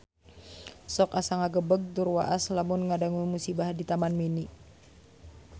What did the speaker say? Sok asa ngagebeg tur waas lamun ngadangu musibah di Taman Mini